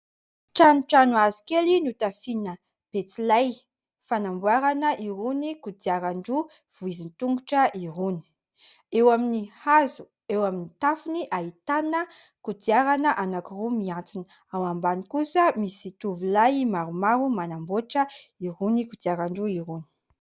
Tranotrano hazo kely notafiana betsilay fanamboarana irony kodiaran-droa vohizin-tongotra irony. Eo amin'ny hazo eo amin'ny tafony ahitana kodiarana roa mihantona. Ao ambany kosa misy tovolahy maromaro manamboatra irony kodiaran-droa irony.